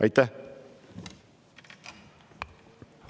Aitäh!